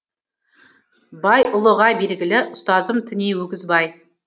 байұлыға белгілі ұстазым тіней өгізбай